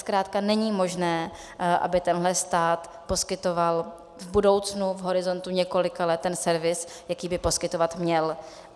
Zkrátka není možné, aby tenhle stát poskytoval v budoucnu, v horizontu několika let, ten servis, jaký by poskytovat měl.